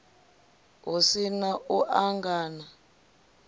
hu si na u angana